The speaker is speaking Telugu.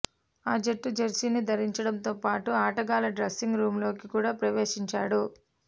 ఆ జట్టు జెర్సీని ధరించడంతో పాటు ఆటగాళ్ల డ్రెస్సింగ్ రూంలోకి కూడా ప్రవేశిచాడు